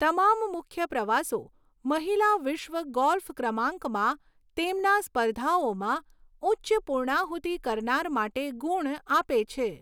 તમામ મુખ્ય પ્રવાસો મહિલા વિશ્વ ગોલ્ફ ક્રમાંકમાં તેમના સ્પર્ધાઓમાં ઉચ્ચ પુર્ણાહુતી કરનાર માટે ગુણ આપે છે.